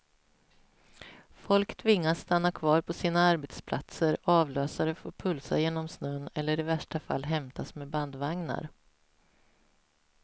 Folk tvingas stanna kvar på sina arbetsplatser, avlösare får pulsa genom snön eller i värsta fall hämtas med bandvagnar.